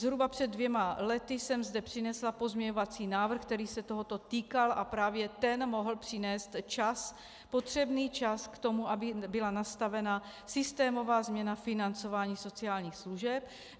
Zhruba před dvěma lety jsem zde přinesla pozměňovací návrh, který se tohoto týkal, a právě ten mohl přinést čas potřebný čas k tomu, aby byla nastavena systémová změna financování sociálních služeb.